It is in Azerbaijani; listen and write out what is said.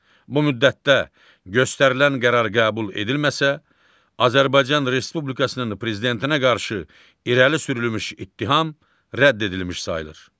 Bu müddətdə göstərilən qərar qəbul edilməsə, Azərbaycan Respublikasının prezidentinə qarşı irəli sürülmüş ittiham rədd edilmiş sayılır.